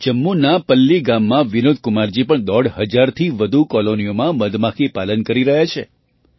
જમ્મુના પલ્લી ગામમાં વિનોદકુમારજી પણ દોઢ હજારથી વધુ કૉલોનીઓમાં મધમાખીપાલન કરી રહ્યા છે